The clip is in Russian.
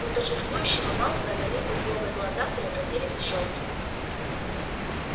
у торжествующего малфоя налитые злобой глаза превратились в щёлки